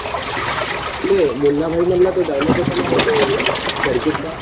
ते मुन्नाभाई मधला तो डायलॉग होता नारे तो याचा सर्किट चा